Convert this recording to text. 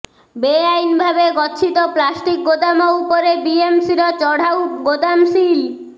ବେଆଇନ ଭାବେ ଗଚ୍ଛିତ ପ୍ଲାଷ୍ଟିକ ଗୋଦାମ ଉପରେ ବିଏମସିର ଚଢାଉ ଗୋଦାମ ସିଲ୍